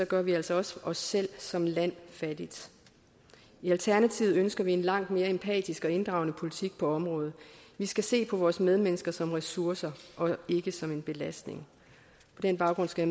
gør vi altså også os selv som land fattigt i alternativet ønsker vi en langt mere empatisk og inddragende politik på området vi skal se på vores medmennesker som ressourcer og ikke som en belastning på den baggrund skal